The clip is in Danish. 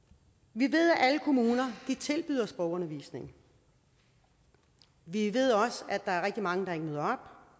vi ved at alle kommuner tilbyder sprogundervisning vi ved at der er rigtig mange der ikke møder